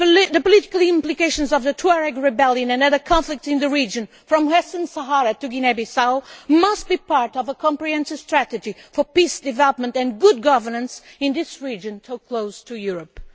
The political implications of the Tuareg rebellion and other conflicts in the region, from Western Sahara to Guinea Bissau, must be part of a comprehensive strategy for peace, development and good governance in this region so close to Europe.